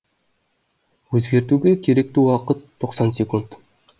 өзгертуге керекті уақыт тоқсан секунд